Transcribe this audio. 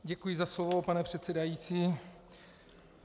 Děkuji za slovo, pane předsedající.